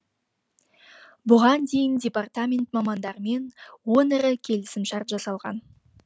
бұған дейін департамент мамандарымен он ірі келісімшарт жасалған